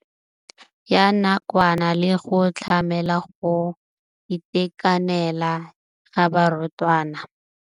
ya nakwana le go tlamela go itekanela ga barutwana.